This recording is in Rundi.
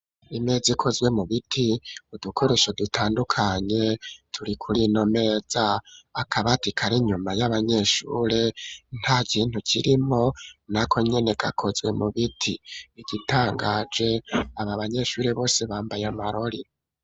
Imeza ikozwe mu biti udukoresho dutandukanye turi kuri iyo meza akabati kari inyuma y'abanyeshuri nta kintu kirimo nako nkeneka kozwe mu biti igitangaje abo banyeshure bose bambaye amarori.